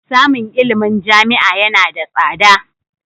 Samun ilimin jami'a yana da tsada.